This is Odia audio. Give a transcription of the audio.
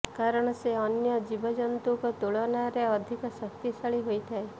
କାରଣ ସେ ଅନ୍ୟ ଜୀବଜନ୍ତୁଙ୍କ ତୁଳନାରେ ଅଧିକ ଶକ୍ତିଶାଳୀ ହୋଇଥାଏ